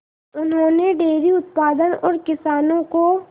उन्होंने डेयरी उत्पादन और किसानों को